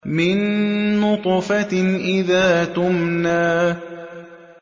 مِن نُّطْفَةٍ إِذَا تُمْنَىٰ